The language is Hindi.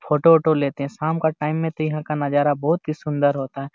फ़ोटो वोटों लेते है शाम का टाइम मे तो यहाँ का नजारा बहुत सुंदर होता है।